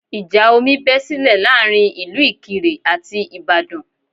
Ìjà omi bé sílẹ̀ láàrin ìlú Ìkirè àti Ìbàdàn